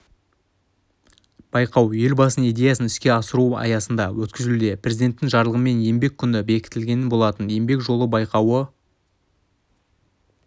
байқау елбасының идеясын іске асыру аясында өткізілуде президенттің жарлығымен еңбек күні бекітілген болатын еңбек жолы байқауы